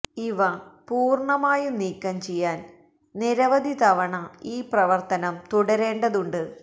ഇവ പൂര്ണമായും നീക്കം ചെയ്യാന് നിരവധി തവണ ഈ പ്രവര്ത്തനം തുടരേണ്ടതുണ്ട്